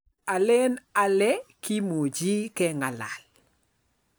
Alen ale kimuchii keng'alal